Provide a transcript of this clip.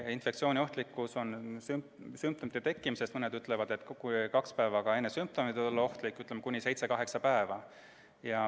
Infektsiooniohtlik on inimene sümptomite tekkimisest – mõned ütlevad, et ka kaks päeva enne sümptomeid võib ta olla ohtlik – kuni 7–8 päeva.